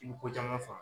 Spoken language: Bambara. I bɛ ko caman faamu